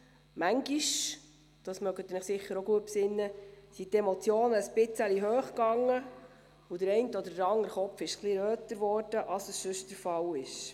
Manchmal – daran mögen Sie sich sicher auch gut erinnern – gingen die Emotionen ein wenig hoch, und der eine oder andere Kopf wurde etwas röter, als es sonst der Fall war.